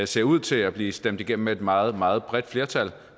ser ud til at blive stemt igennem med et meget meget bredt flertal